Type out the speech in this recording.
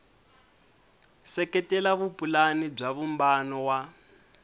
seketela vupulani bya vumbano wa